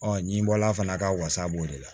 ɲibɔla fana a ka wasa b'o de la